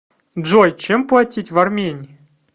джой чем платить в армении